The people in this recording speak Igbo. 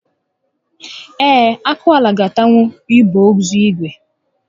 Ee, akwụala ga atanwu igbe ozu ígwè